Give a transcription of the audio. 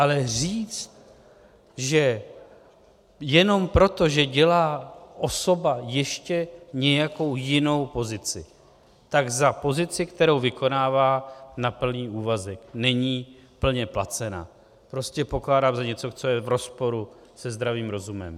Ale říct, že jenom proto, že dělá osoba ještě nějakou jinou pozici, tak za pozici, kterou vykonává na plný úvazek, není plně placen, prostě pokládám za něco, co je v rozporu se zdravým rozumem.